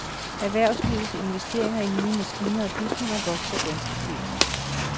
Erhvervslivets investeringer i nye maskiner og bygninger vokser ganske pænt.